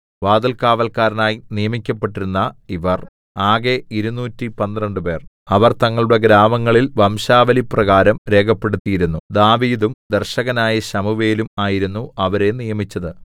വാതിൽകാവല്ക്കാരായി നിയമിക്കപ്പെട്ടിരുന്ന ഇവർ ആകെ ഇരുനൂറ്റി പന്ത്രണ്ടുപേർ 212 അവർ തങ്ങളുടെ ഗ്രാമങ്ങളിൽ വംശാവലിപ്രകാരം രേഖപ്പെടുത്തിയിരുന്നു ദാവീദും ദർശകനായ ശമൂവേലും ആയിരുന്നു അവരെ നിയമിച്ചത്